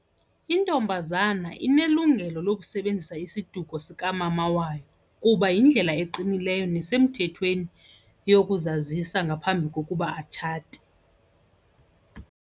Intombazana inelungelo lokusebenzisa isiduko sikamama wayo kuba yindlela eqinileyo nasemthethweni yokuzazisa ngaphambi kokuba atshate.